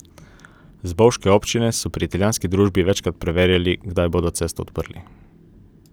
Z bovške občine so pri italijanski družbi večkrat preverjali, kdaj bodo cesto odprli.